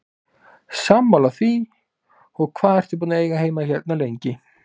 Sammála því, og hvað ertu búinn að eiga heima hérna lengi?